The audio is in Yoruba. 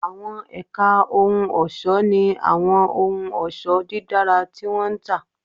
Àwọn ẹ̀ka ohun ọ̀ṣọ́ ní àwọn ohun ọ̀ṣọ́ dídára tí wọ́n ń tà